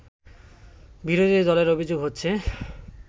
বিরোধী দলের অভিযোগ হচ্ছে